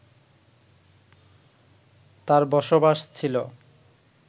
তার বসবাস ছিল